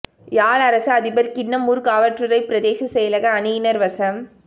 யாழ் அரச அதிபர் கிண்ணம் ஊர்காவற்றுறை பிரதேச செயலக அணியினர் வசம்